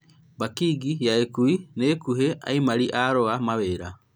Bakĩ'ngi ya ũkui nĩ ĩkũhe aimari a arũa mawĩra